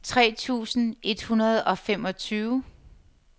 tre tusind et hundrede og femogtyve